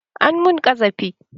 An mun ƙazafi